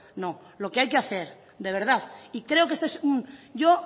no lo que hay que hacer de verdad y creo que este es yo